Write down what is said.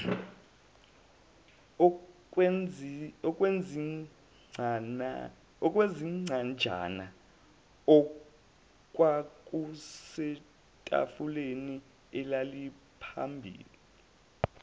okwezincwajana okwakusetafuleni elaliphambi